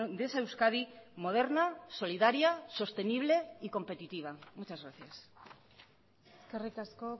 de esa euskadi moderna solidaria sostenible y competitiva muchas gracias eskerrik asko